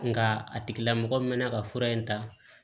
Nka a tigilamɔgɔ mɛna ka fura in ta